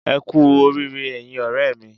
Ẹ kú oríire ẹyin ọ̀rẹ́ mi